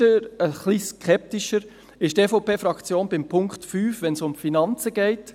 Etwas skeptischer ist die EVP-Fraktion beim Punkt 5, wenn es um die Finanzen geht.